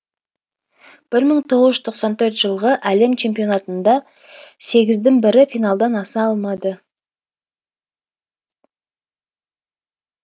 бір мың тоғыз жүз тоқсан төртінші жылғы әлем чемпионатында сегіздің бірі финалдан аса алмады